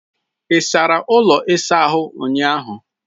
Ị sara ụlọ ịsa ahụ ụnyahụ?